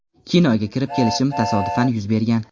Kinoga kirib kelishim tasodifan yuz bergan.